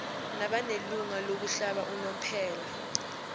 nabanelungelo lokuhlala unomphela